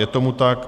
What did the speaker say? Je tomu tak.